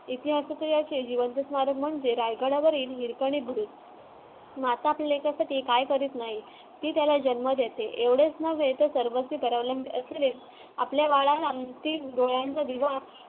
इतिहासातील जिवंत स्मारक म्हणजे रायगडावरील हिरकणी बुरुज माता आपल्या लेकरासाठी काय करत नाही ती त्याला जन्म देते एवढेच नव्हे आपल्या बाळाला ती डोळ्यांचा